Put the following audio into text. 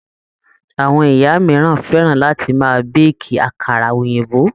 Àwọn ìyá mìíràn fẹ́ràn láti máa béèkì àkàrà òyìnbó.